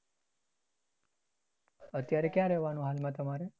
અત્યારે ક્યાં રેહવાનું હાલમાં તમારે?